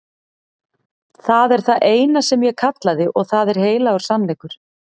Það er það eina sem ég kallaði og það er heilagur sannleikur.